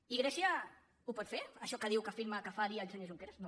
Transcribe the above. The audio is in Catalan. i grècia ho pot fer això que diu que afirma que faria el senyor junque·ras no